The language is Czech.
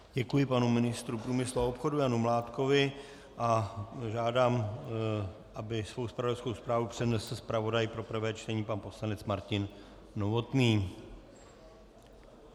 Děkuji panu ministru průmyslu a obchodu Janu Mládkovi a žádám, aby svou zpravodajskou zprávu přednesl zpravodaj pro prvé čtení pan poslanec Martin Novotný.